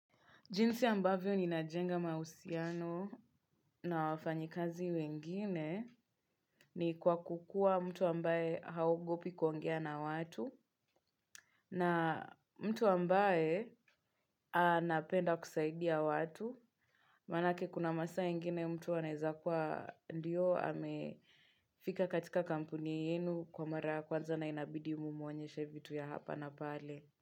Jinsi ambavyo ni najenga mahusiano na wafanyakazi wengine ni kwa kuwa mtu ambaye haogopi kuongea na watu, na mtu ambaye anapenda kusaidia watu. Maana yake kuna masaa ingine mtu anaweza kwa ndio amefika katika kampuni yenu kwa mara kwanza na inabidi umwonyeshe vitu vya hapa na pale.